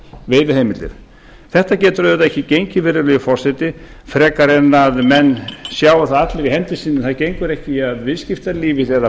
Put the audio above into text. veiðiheimildir þetta auðvitað ekki gengið virðulegi forseti frekar en menn sjái það allir í hendi sinni að það gengur ekki að viðskiptalífið eða